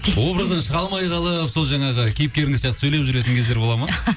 образдан шыға алмай қалып сол жаңағы кейіпкеріңіз сияқты сөйлеп жүретін кездер болады ма